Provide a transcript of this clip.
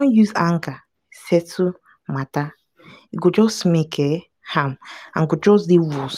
spread rumor about pesin wey wey no be true becos say una fit fight